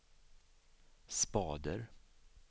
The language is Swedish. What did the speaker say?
spader